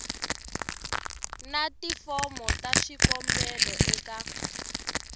na tifomo ta swikombelo eka